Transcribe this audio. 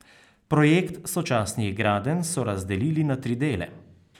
Projekt sočasnih gradenj so razdelili na tri dele.